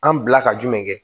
An bila ka jumɛn kɛ